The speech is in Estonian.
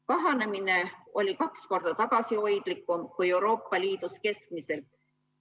Kahanemine oli kaks korda tagasihoidlikum kui Euroopa Liidus keskmiselt.